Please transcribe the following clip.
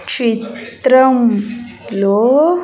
చిత్రం లో.